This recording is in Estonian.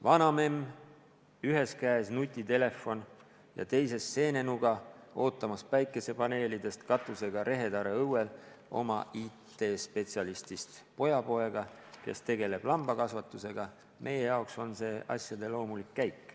Vanamemm, ühes käes nutitelefon ja teises seenenuga, ootamas päikesepaneelidest katusega rehetare õuel oma IT-spetsialistist pojapoega, kes tegeleb lambakasvatusega – meie jaoks on see asjade loomulik käik.